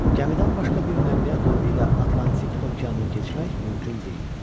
Gəmidən başqa bir nəqliyyat növü ilə Atlantik okeanını keçmək mümkün deyildi.